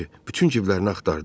Kiver bütün ciblərin axtardı.